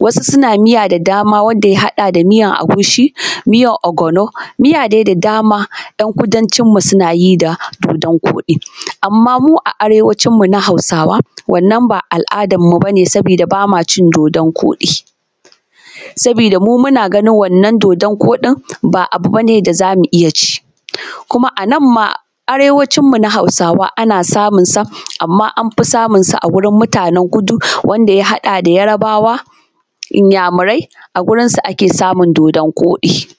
wasu suna miya da dama wanda ya hada da miyan agushi miyan ogono miya dai da dama ‘yan kudancin mu suna yi da dodan koɗi, amma mu a arewacin mu na hausawa wannan ba al’adar mu bane saboda bama cin dodan koɗi saboda mu muna ganin wannan dodan koɗin ba abu bane da zamu iya ci kuma a nan ma arewanci mu na hausawa ana samun sa amma an fi samun sa a gurin mutanan kudu wanda ya haɗa da yarbawa iyamurai a gurin su ake samun dodan koɗi.